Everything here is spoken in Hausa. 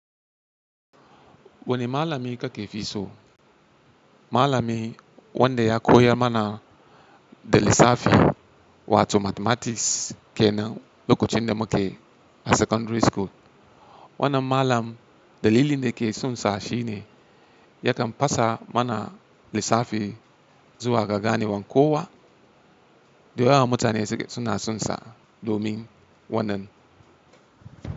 Wani malami ka ke fi so? Malami wanda ya koya mana da lissafi wato mathematics kenan lokacin da muke a secondary school. Wannan malam dalili da ke sonsa shi ne yakan fasa mana lissafi zuwa ga ganewan kowa da yawa mutane suke suna sonsa domin wannan.